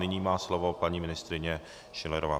Nyní má slovo paní ministryně Schillerová.